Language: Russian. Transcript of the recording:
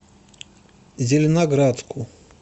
зеленоградску